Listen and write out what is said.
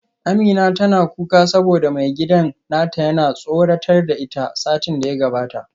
Amina tana kuka saboda maigidan nata yana tsoratar da ita satin da ya gabata